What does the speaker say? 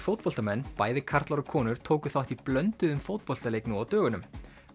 fótboltamenn bæði karlar og konur tóku þátt í blönduðum fótboltaleik nú á dögunum